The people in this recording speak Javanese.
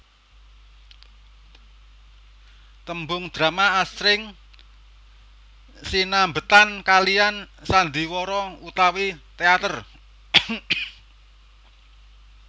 Tembung drama asring sinambetan kaliyan Sandiwara utawi teater